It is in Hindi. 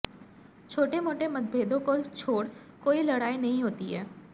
छोटे मोटे मतभेदों को छोड़ कोई लड़ाई नहीं होती है